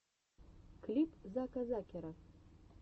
клип зака закера